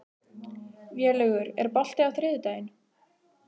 Vélaugur, er bolti á þriðjudaginn?